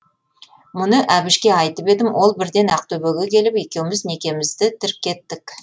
мұны әбішке айтып едім ол бірден ақтөбеге келіп екеуміз некемізді тіркеттік